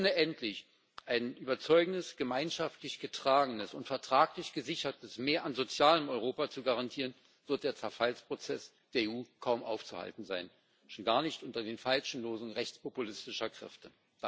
Ohne endlich ein überzeugendes, gemeinschaftlich getragenes und vertraglich gesichertes Mehr an sozialem Europa zu garantieren, wird der Zerfallsprozess der EU kaum aufzuhalten sein, und schon gar nicht unter den falschen Losungen rechtspopulistischer Kräfte.